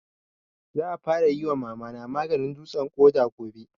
Za a fara yi wa Mama na maganin dutsen ƙoda gobe